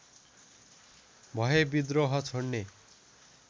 भए विद्रोह छोड्ने